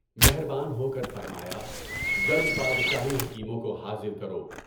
مہربان ہوکر فرمایا جلد بادشاہی حکیموں کو حاضر کرو۔